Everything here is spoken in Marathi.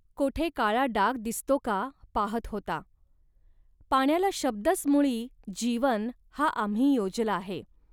कोठे काळा डाग दिसतो का, पाहत होता. पाण्याला शब्दच मुळी 'जीवन' हा आम्ही योजला आहे